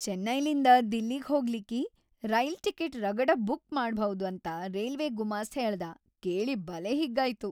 ಚೆನ್ನೈಲಿಂದ ದಿಲ್ಲಿಗ್‌ ಹೋಗ್ಲಿಕ್ಕಿ rail ticket ರಗಡ ಬುಕ್‌ ಮಾಡಭೌದ್ ಅಂತ ರೇಲ್ವೆ ಗುಮಾಸ್ತ್ ಹೇಳ್ದಾ ಕೇಳಿ ಬಲೇ ಹಿಗ್ಗಾಯ್ತು.